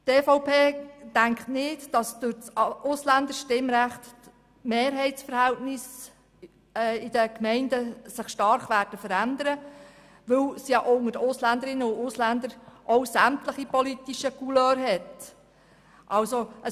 Die EVP denkt nicht, dass sich durch das Ausländerstimmrecht die Mehrheitsverhältnisse in den Gemeinden stark verändern würden, weil ja auch unter den Ausländerinnen und Ausländern sämtliche politischen Couleurs vertreten sind.